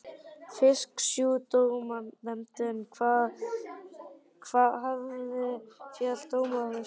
Fisksjúkdómanefnd hafði fellt dóm yfir stöð minni.